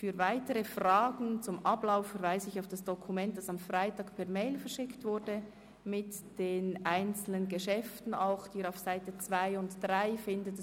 Für weitere Fragen zum Ablauf verweise ich auf das Dokument mit den einzelnen Geschäften, das am Freitag per E-Mail verschickt wurde.